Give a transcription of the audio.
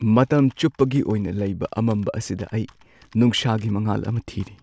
ꯃꯇꯝ ꯆꯨꯞꯄꯒꯤ ꯑꯣꯏꯅ ꯂꯩꯕ ꯑꯃꯝꯕ ꯑꯁꯤꯗ ꯑꯩ ꯅꯨꯡꯁꯥꯒꯤ ꯃꯉꯥꯜ ꯑꯃ ꯊꯤꯔꯤ꯫